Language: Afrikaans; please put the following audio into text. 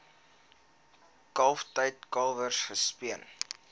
kalftyd kalwers gespeen